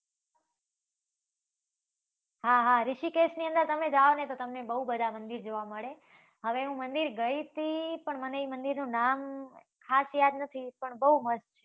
હા હા, રીષિકેશની અંદર તમે જાવ ને તો તમને બવ બધા મંદિર જોવા મળે. હવે હુંં એ મંદિર ગઈ હતી પણ મને ઈ મંદિરનું નામ ખાસ યાદ નથી પણ બવ મસ્ત છે